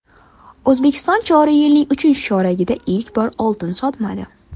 O‘zbekiston joriy yilning uchinchi choragida ilk bor oltin sotmadi.